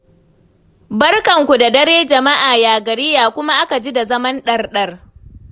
Barkanku da dare, jama'a ya gari ya kuma a ka ji da zaman ɗarɗar?